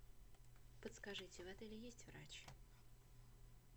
подскажите в отеле есть врач